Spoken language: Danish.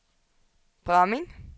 Bramming